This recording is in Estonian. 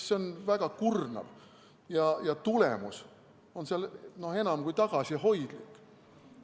See on väga kurnav ja tulemus on enam kui tagasihoidlik.